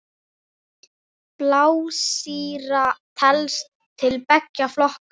Blásýra telst til beggja flokka.